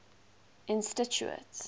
institute